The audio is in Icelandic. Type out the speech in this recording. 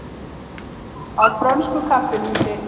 Á frönsku kaffihúsi?